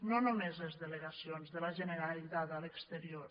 no només les delegacions de la generalitat a l’exterior